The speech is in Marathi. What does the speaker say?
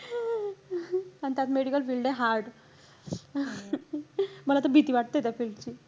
आणि त्यात medical field ए hard. मला तर भीती वाटते त्या field ची.